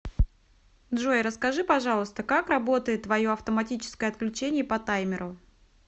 джой расскажи пожалуйста как работает твое автоматическое отключение по таймеру